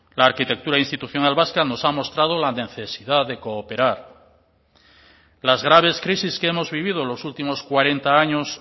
la arquitectura institucional vasca nos ha mostrado la necesidad de cooperar las graves crisis que hemos vivido los últimos cuarenta años